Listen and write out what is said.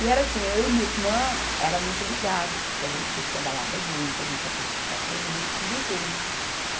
E era assim, eu e minha irmã era muito ligadas, porque a gente curtia balada junto, a gente ia para discoteca junto, tudo junto.